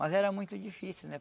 Mas era muito difícil, né?